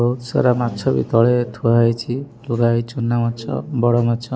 ବହୁତ ସାରା ମାଛ ବି ତଳେ ଥୁଆ ହୋଇଛି ପୁଳାଏ ଚୁନା ମାଛ ବଡ ମାଛ।